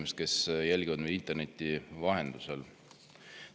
Head inimesed, kes jälgivad meid interneti vahendusel!